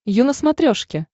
ю на смотрешке